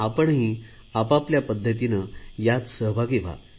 आपणही आपल्या पध्दतीने यात सहभागी व्हा